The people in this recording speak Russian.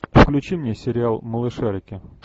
включи мне сериал малышарики